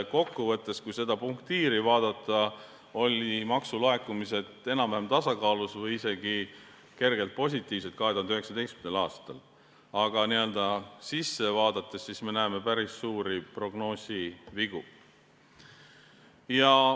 Ehk kui seda punktiiri vaadata, on näha, et maksulaekumised olid enam-vähem tasakaalus või isegi kergelt positiivsed 2019. aastal, aga n-ö asja sisse vaadates me näeme päris suuri prognoosivigu.